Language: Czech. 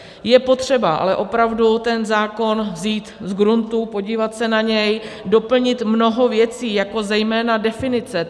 Je potřeba ale opravdu ten zákon vzít z gruntu, podívat se na něj, doplnit mnoho věcí, jako zejména definice.